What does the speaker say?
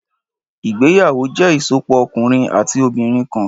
Ìgbéyàwó jẹ́ ìsopọ̀ ọkùnrin àti obìnrin kan.